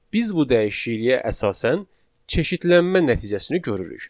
Biz bu dəyişikliyə əsasən çeşidlənmə nəticəsini görürük.